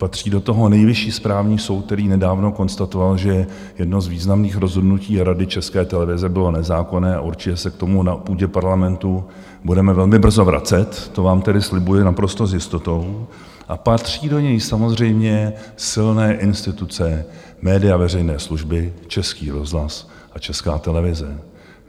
Patří do toho Nejvyšší správní soud, který nedávno konstatoval, že jedno z významných rozhodnutí Rady České televize bylo nezákonné, a určitě se k tomu na půdě Parlamentu budeme velmi brzo vracet, to vám tedy slibuji naprosto s jistotou, a patří do něj samozřejmě silné instituce, média veřejné služby, Český rozhlas a Česká televize.